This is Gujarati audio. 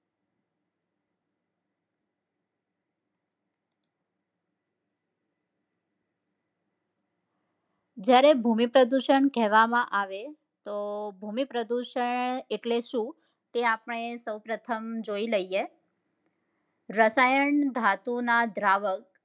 જયારે ભૂમિ પ્રદુષણ કહેવામાં આવે તો ભૂમિ પ્રદુષણ એટલે શું તે આપડે સૌ પ્રથમ જોઈ લઈએ રસાયણ ધાતુ ના દ્રાવક